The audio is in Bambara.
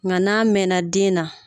Nka n'a mɛn na den na.